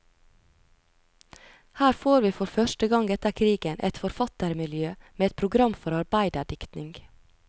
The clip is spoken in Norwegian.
Her får vi for første gang etter krigen et forfattermiljø med et program for arbeiderdiktning.